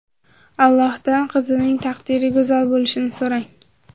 Allohdan qizingizning taqdiri go‘zal bo‘lishini so‘rang.